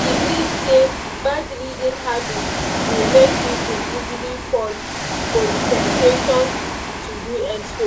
e believe say bad reading habit dey make people easily fall for the temptation to do expo.